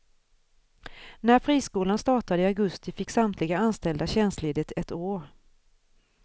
När friskolan startade i augusti fick samtliga anställda tjänstledigt ett år.